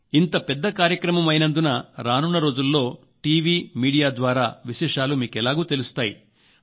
ఇంత పెద్ద కార్యక్రమం అయినందున రానున్న రోజుల్లో టీవీ మీడియా ద్వారా విశేషాలు మీకెలాగూ తెలుస్తాయి